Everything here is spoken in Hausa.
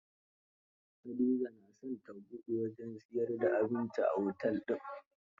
Hadiza na son ta buɗe wajen siyar da abinci a otel din